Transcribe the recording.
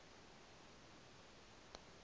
u ṱun ḓwa na u